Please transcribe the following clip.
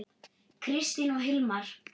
Kristín og Hilmar.